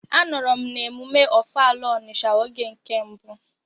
Anọrọ m n'emume ọfala Ọnisha oge nke mbụ.